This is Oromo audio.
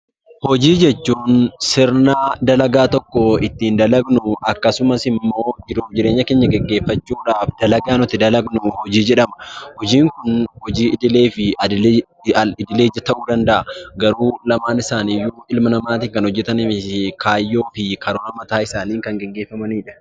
Hojii jechuun sirna dalagaa tokko ittiin dalagnu akkasumas immoo jiruuf jireenya keenya gaggeeffachuudhaaf dalagaa nuti dalagnu hojii jedhama. Hojiin idilee fi al idilee ta'uu danda'a. Garuu lamaan isaaniiyyuu ilma namaatiin kan hojjetamanii fi kaayyoo fi karoora mataa isaaniin kan gaggeeffamanidha.